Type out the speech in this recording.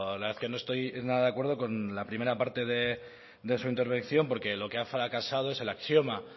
la verdad es que no estoy nada de acuerdo con la primera parte de su intervención porque lo que ha fracasado es el axioma